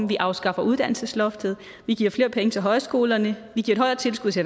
vi afskaffer uddannelsesloftet vi giver flere penge til højskolerne vi giver et højere tilskud til